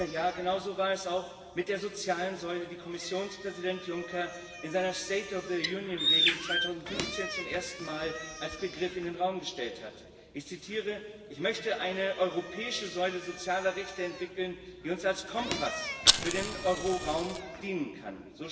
Ja, genauso war es auch mit der sozialen Säule, die Kommissionspräsident Juncker in seiner —Rede 2015 zum ersten Mal als Begriff in den Raum gestellt hat. Ich zitiere Ich möchte eine europäische Säule sozialer Rechte entwickeln, die uns als Kompass für den Euroraum dienen kann.